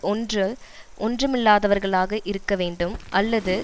ஒன்று ஒன்றுமில்லாதவர்களாக இருக்க வேண்டும் அல்லது